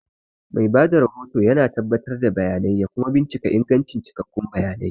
Mai ba da rahoto yana tabbatar da bayanai kuma bincika ingancin cikakkun bayanai.